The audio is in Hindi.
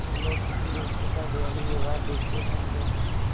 जब लोग किसी व्यक्ति का दयालु व्यवहार देखते हैं तो